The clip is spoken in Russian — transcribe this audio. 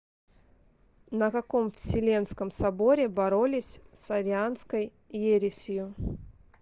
на каком вселенском соборе боролись с арианской ересью